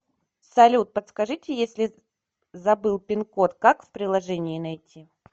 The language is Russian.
салют подскажите если забыл пин код как в приложении найти